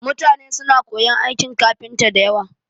Mutane suna koyon aikin kafinta da yawa